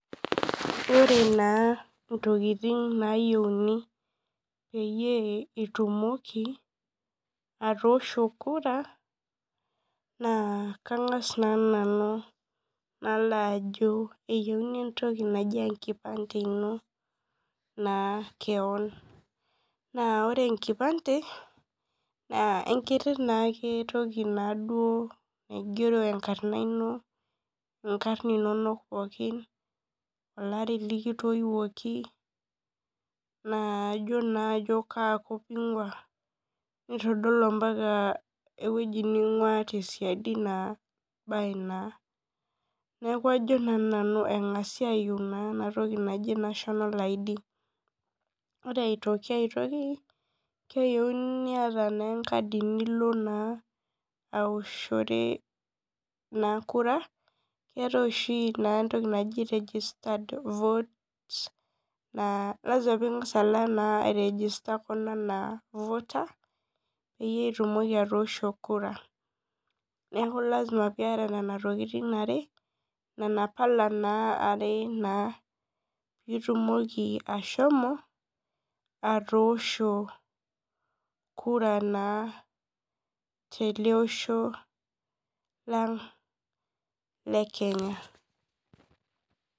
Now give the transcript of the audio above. Ore na ntokitin nayieuni peyie atoosho kura na kangas na nanu nalobajo eyieuni entoki naji enkipande ino na keon naore enkipande na enkiti toki naigeronkarn inonok, nigero larin likitoiwoki na kaakop ingia nitadol mbaka ewoi ningua tesiadi neaku ajo na nanu engasa ayieu entoki naji nationa id ore si aitoki keyieuni niata enkadi nioshore kura keetai oshi entoki naji registered voter na lasima pingasa alo airegister ana voter peitumoki atoosho kura neaku lasima piata nona tokitin are nona pala are na pitumoki ashomo atoosho kura naa telosho lang le Kenya.